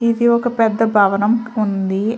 ఇది ఒక పెద్ద భవనం ఉంది.